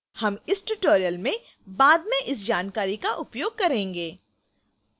हम इस tutorial में बाद में इस जानकारी का उपयोग करेंगे